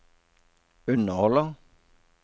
underholder